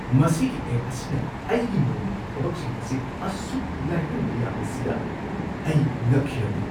ꯃꯁꯤꯒꯤ ꯑꯦꯞ ꯑꯁꯤꯅ ꯑꯩꯒꯤ ꯅꯣꯡꯃꯒꯤ ꯊꯕꯛꯁꯤꯡ ꯑꯁꯤ ꯑꯁꯨꯛ ꯂꯥꯏꯍꯟꯕ ꯌꯥꯕꯁꯤꯗ ꯑꯩ ꯉꯛꯈꯤꯔꯝꯃꯤ꯫